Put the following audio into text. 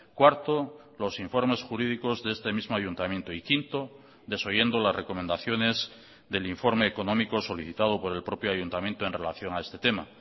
cuarto los informes jurídicos de este mismo ayuntamiento y quinto desoyendo las recomendaciones del informe económico solicitado por el propio ayuntamiento en relación a este tema